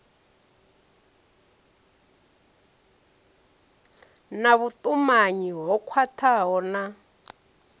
na vhutumanyi ho khwathaho na